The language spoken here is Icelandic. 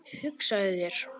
Hugsaðu þér!